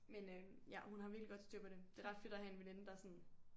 Men øh ja hun har virkelig godt styr på det. Det er ret fedt at have en veninde der er sådan